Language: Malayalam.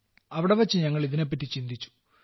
അവിടെവെച്ച് ഞങ്ങൾ ഇതിനെപ്പറ്റി ചിന്തിച്ചു